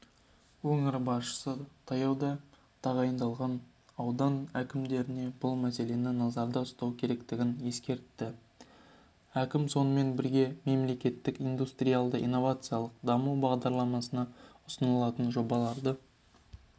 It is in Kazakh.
өңір басшысы таяуда тағайындалған аудан әкімдеріне бұл мәселені назарда ұстау керектігін ескертті әкім сонымен бірге мемлекеттік индустиялды-инновациялық даму бағдарламасына ұсынылатын жобаларды